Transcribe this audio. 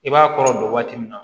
I b'a kɔrɔ don waati min na